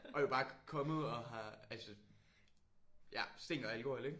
Og I jo bare er kommet og har altså ja stinker af alkohol jo ik?